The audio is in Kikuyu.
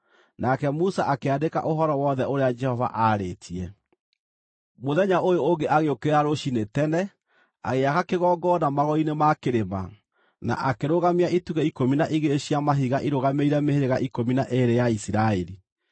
Nake Musa akĩandĩka ũhoro wothe ũrĩa Jehova aarĩtie. Mũthenya ũyũ ũngĩ agĩũkĩra rũciinĩ tene, agĩaka kĩgongona magũrũ-inĩ ma kĩrĩma, na akĩrũgamia itugĩ ikũmi na igĩrĩ cia mahiga irũgamĩrĩire mĩhĩrĩga ikũmi na ĩĩrĩ ya Isiraeli.